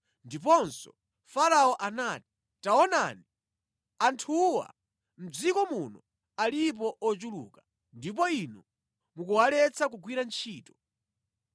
Ndiponso Farao anati, “Taonani, anthuwa mʼdziko muno alipo ochuluka, ndipo inu mukuwaletsa kugwira ntchito.”